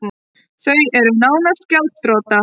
Þau eru nánast gjaldþrota